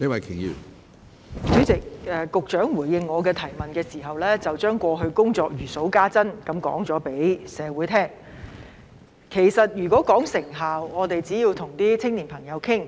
主席，局長在回應我的質詢時，將過去的工作如數家珍般告訴社會，如果要說成效，只要跟青年朋友討論便知道。